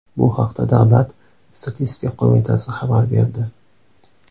Bu haqda Davlat statistika qo‘mitasi xabar berdi .